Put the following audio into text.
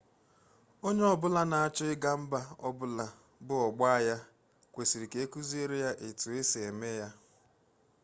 onye ọbụla na-achọ ịga mba ọbụla bụ ọgbọ agha kwesịrị ka e kuziere ya etu e si eme ya